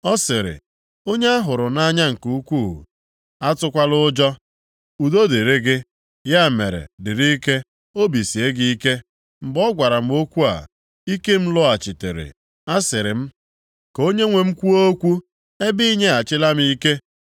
Ọ sịrị, “Onye a hụrụ nʼanya nke ukwu, atụkwala ụjọ, udo dịrị gị, ya mere dịrị ike, obi sie gị ike.” Mgbe ọ gwara m okwu a, ike m lọghachitere, asịrị m, “Ka onyenwe m kwuo okwu, ebe i nyeghachila m ike.”